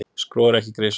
Skro er ekki í grisjum.